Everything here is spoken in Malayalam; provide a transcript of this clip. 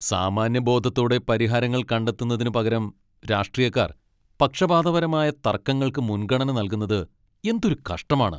സാമാന്യബോധത്തോടെ പരിഹാരങ്ങൾ കണ്ടെത്തുന്നതിന് പകരം രാഷ്ട്രീയക്കാർ പക്ഷപാതപരമായ തർക്കങ്ങൾക്ക് മുൻഗണന നൽകുന്നത് എന്തൊരു കഷ്ടമാണ്.